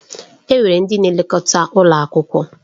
Enwere ndị na-elekọta ụlọ akwụkwọ.